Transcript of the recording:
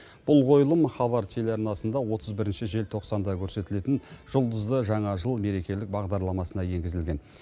бұл қойылым хабар телеарнасында отыз бірінші желтоқсанда көрсетілетін жұлдызды жаңа жыл мерекелік бағдарламасына енгізілген